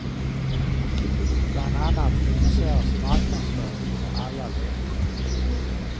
Bland annat kritiseras marknadsföringen för alla löften.